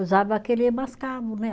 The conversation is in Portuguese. Usava aquele mascavo, né?